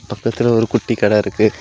பக்கத்துல ஒரு குட்டி கடை இருக்கு.